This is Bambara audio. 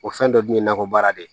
O fɛn dɔ dun ye nakɔ baara de ye